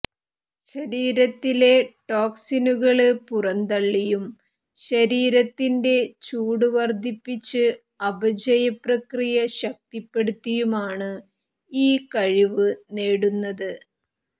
ശരീരത്തിലെ ടോക്സിനുകള് പുറന്തള്ളിയും ശരീരത്തിന്റെ ചൂടു വര്ദ്ധിപ്പിച്ച് അപചയപ്രക്രിയ ശക്തിപ്പെടുത്തിയുമാണ് ഈ കഴിവ് നേടുന്നത്